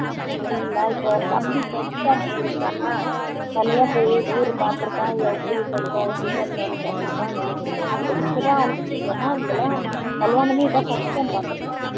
இப்போ தம்பி first time போயிருக்கான் தனியா போய் ஊர் பாத்துருக்கான் எப்படி சொந்தம் எப்படி பந்தனம்னு பாத்துருக்கான் அப்போ இப்போ தான் அவனுக்கு புரியுது அம்மா இங்கெல்லாம் கல்யாணமே இதான் first time பாத்துருப்பான்